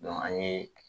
an ye